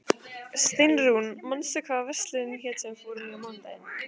Steinrún, manstu hvað verslunin hét sem við fórum í á mánudaginn?